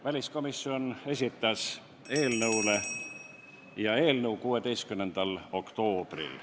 Väliskomisjon esitas selle eelnõu 16. oktoobril.